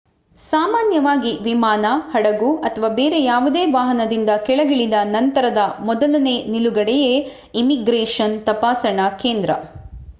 ಸಾಮಾನ್ಯವಾಗಿ ವಿಮಾನ ಹಡಗು ಅಥವಾ ಬೇರೆ ಯಾವುದೇ ವಾಹನದಿಂದ ಕೆಳಗಿಳಿದ ನಂತರದ ಮೊದಲನೇ ನಿಲುಗಡೆಯೇ ಇಮಿಗ್ರೆಷನ್ ತಪಾಸಣಾ ಕೇಂದ್ರ